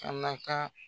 Kana ka